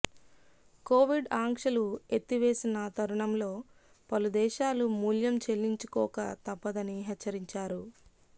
Covid ఆంక్షలు ఎత్తివేసిన తరుణంలో పలు దేశాలు మూల్యం చెల్లించుకోక తప్పదని హెచ్చరించారు